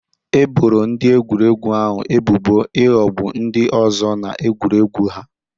E boro ndị egwuregwu ahụ ebubo ịghọgbu ndị ọzọ na egwuregwu ahụ